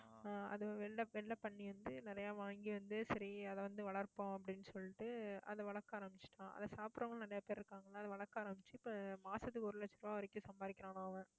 ஆஹ் அது வெள்ளை வெள்ளை பன்னி வந்து, நிறைய வாங்கி வந்து, சரி அதை வந்து வளர்ப்போம் அப்படின்னு சொல்லிட்டு, அதை வளர்க்க ஆரம்பிச்சுட்டான் அதை சாப்பிடறவங்களும் நிறைய பேர் இருக்காங்க. அதனால, வளர்க்க ஆரம்பிச்சு இப்ப மாசத்துக்கு ஒரு லட்சம் ரூபாய் வரைக்கும் சம்பாதிக்கிறானாம் அவன்